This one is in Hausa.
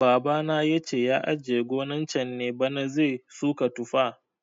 Baba na yace ya ajiye gonan can ne bana zai suka tufa